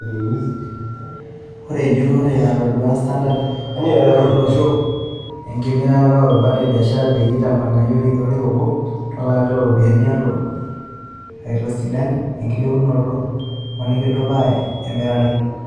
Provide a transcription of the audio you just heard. Ore ejurore natodua Standard, erubata olosho enkimirata o barat e biashara peyie itamanyu orekia obo tolari looropiyani olotu naakelo aitosidan enkilepunoto we nkitudupaa e mirare.